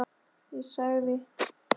Ég sagði